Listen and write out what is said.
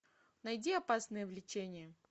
найди опасное влечение